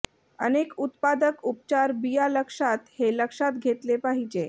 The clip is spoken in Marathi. अनेक उत्पादक उपचार बिया लक्षात हे लक्षात घेतले पाहिजे